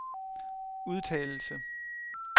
udtalelse